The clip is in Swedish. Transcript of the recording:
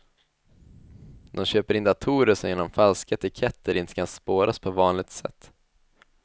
De köper in datorer som genom falska etiketter inte kan spåras på vanligt sätt.